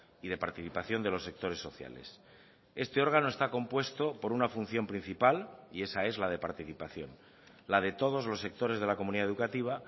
y de participación de los sectores sociales este órgano está compuesto por una función principal y esa es la de participación la de todos los sectores de la comunidad educativa